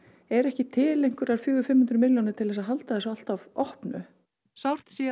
eru ekki til einhverjar fjögur fimm hundruð milljónir til þess að halda þessu alltaf opnu sárt sé